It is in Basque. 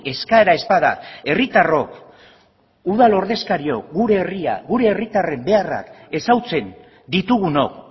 eskaera ez bada herritarrok udal ordezkariok gure herria gure herritarren beharrak ezagutzen ditugunok